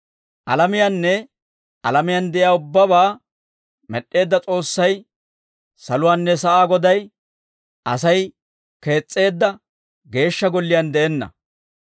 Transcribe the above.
«Alamiyaanne alamiyaan de'iyaa ubbabaa med'd'eedda S'oossay saluwaanne sa'aa Goday, Asay kees's'eedda Geeshsha Golliyaan de'enna.